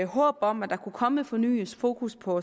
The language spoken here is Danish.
håb om at der kunne komme et fornyet fokus på